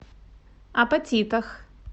апатитах